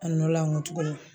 A nɔ la n ko tuguni